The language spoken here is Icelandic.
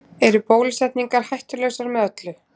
Eru bólusetningar hættulausar með öllu?